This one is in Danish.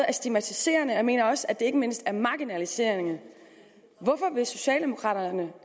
er stigmatiserende og jeg mener også at det ikke mindst er marginaliserende hvorfor vil socialdemokraterne